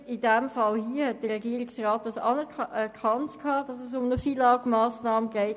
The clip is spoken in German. In diesem Fall hat der Regierungsrat anerkannt, dass es sich um eine FILAG-Massnahme handelt.